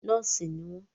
Nọ́ọ̀sì ni wọ́n